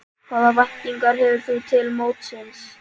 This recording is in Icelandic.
Hvaða væntingar hefur þú til mótsins?